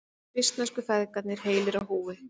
Svissnesku feðgarnir heilir á húfi